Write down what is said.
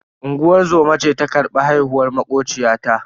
Unguwar zoma ce ta karbi haihuwar makociyata.